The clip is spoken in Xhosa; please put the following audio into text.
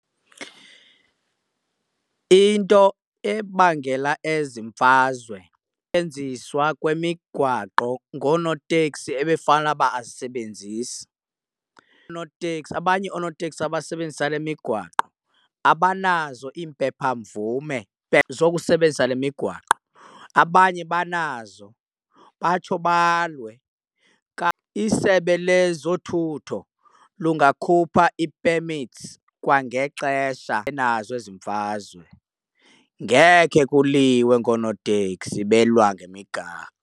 Into ebangela ezi mfazwe kwemigwaqo ngoonoteksi ebefanele uba abazisebenzisi. Oonoteksi, abanye oonoteksi abasebenzisa le migwaqo abanazo iimpepha mvume zokusebenzisa le migwaqo, abanye banazo batsho balwe . Isebe lezothutho lungakhupha ii-permits kwangexesha nazo ezi mfazwe. Ngekhe kuliwe ngoonoteksi belwa .